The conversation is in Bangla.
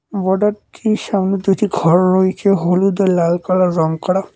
বড় একটি সামনে দুটি ঘর রয়েছে হলুদ ও লাল কালার রং করা।